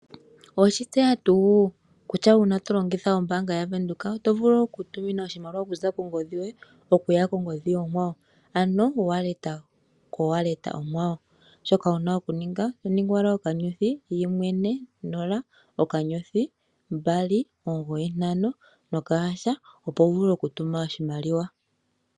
Oweshi tseya tuu kutya uuna to longitha ombaanga ya Venduka oto vulu oku tuminwa oshimaliwa okuza kongodhi yoye okuya kongodhi onkwawo ano wallet ko wallet onkwawo. Shoka wuna oku ninga oto ningi owala okanyothi yimwe, ne, nola ,okanyothi, mbali ,omugoyi, ntano noka hasha opo wu vule oku tuma oshimaliwa.